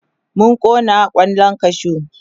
mun Kona kwallan kashu